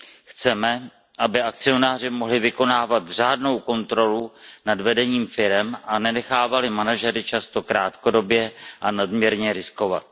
Chceme, aby akcionáři mohli vykonávat řádnou kontrolu nad vedením firem a nenechávali manažery často krátkodobě a nadměrně riskovat.